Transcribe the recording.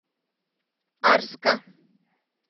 арска